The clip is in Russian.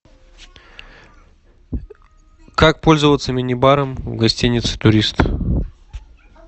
как пользоваться мини баром в гостинице турист